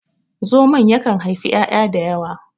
zamon yakan haifi 'ya'ya da yawa